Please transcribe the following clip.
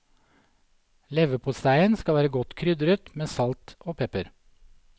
Leverposteien skal være godt krydret med salt og pepper.